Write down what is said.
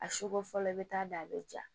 A sugo fɔlɔ i bɛ taa da a bɛ ja